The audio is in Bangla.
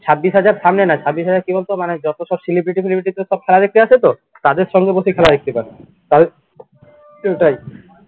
ছাব্বিশ হাজার সামনে না ছাব্বিশ হাজার কী বলতো মানে যত সব celebrity ফেলিব্রিটি সব খেলা দেখতে আসে তো তাদের সঙ্গে বসে খেলা দেখতে পারবি।